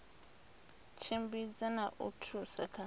tshimbidza na u thusa kha